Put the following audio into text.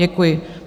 Děkuji.